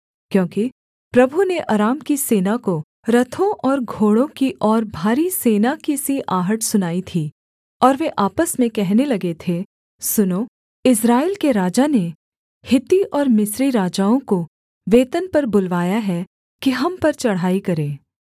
क्योंकि प्रभु ने अराम की सेना को रथों और घोड़ों की और भारी सेना की सी आहट सुनाई थी और वे आपस में कहने लगे थे सुनो इस्राएल के राजा ने हित्ती और मिस्री राजाओं को वेतन पर बुलवाया है कि हम पर चढ़ाई करें